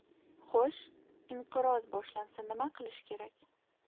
Xo‘sh, inqiroz boshlansa nima qilish kerak?